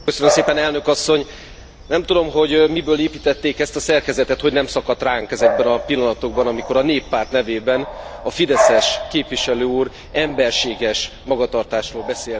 Elnök Asszony, nem tudom, hogy miből építették ezt a szerkezetet, hogy nem szakadt ránk ezekben a pillanatokban, amikor a Néppárt nevében a Fideszes képviselő úr emberséges magatartásról beszélt.